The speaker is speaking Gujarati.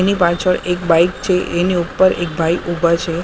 એની પાછળ એક બાઈક છે એની ઉપર એક ભાઈ ઉભા છે.